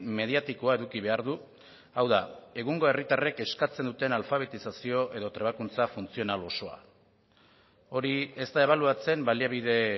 mediatikoa eduki behar du hau da egungo herritarrek eskatzen duten alfabetizazio edo trebakuntza funtzional osoa hori ez da ebaluatzen baliabide